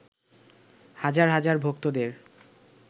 হাজার হাজার ভক্তদের